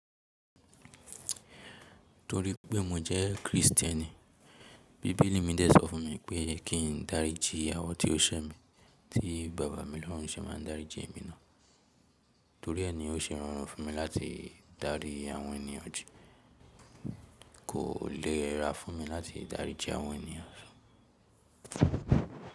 Torí pé mo jẹ́ Kristẹni, bíbélì mi dẹ̀ sọ fún mi pé kí n daríji awọ́n tí ó ṣẹ́ mi, tí bàbá mi lọ́run se máa daríji èmi náà. Torí ẹe ni ó ṣe rorun fún mi láti darí àwọn ènìyàn jí kò lè ra fún mi láti daríji àwọn ènìyàn sọ.